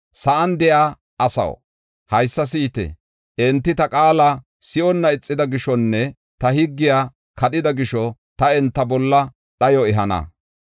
Sa7an de7iya asaw, haysa si7ite! Enti ta qaala si7onna ixida gishonne ta higgiya kadhida gisho ta enta bolla dhayo ehana.